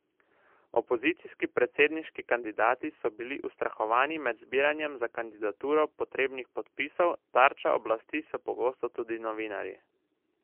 Opozicijski predsedniški kandidati so bili ustrahovani med zbiranjem za kandidaturo potrebnih podpisov, tarča oblasti so pogosto tudi novinarji.